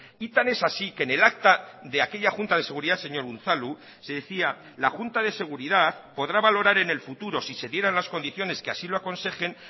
y tan es así que en el acta de aquella junta de seguridad señor unzalu se decía la junta de seguridad podrá valorar en el futuro si se dieran las condiciones que así lo aconsejen